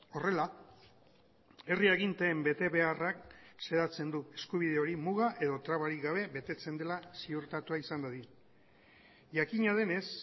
horrela herri aginteen betebeharrak xedatzen du eskubide hori muga edo trabarik gabe betetzen dela ziurtatua izan dadin jakina denez